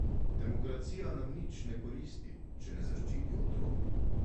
Demokracija nam nič ne koristi, če ne zaščiti otrok.